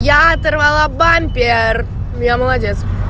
я оторвала бампер я молодец